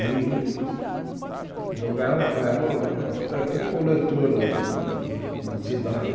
E jogava, era o coletor da da cidade.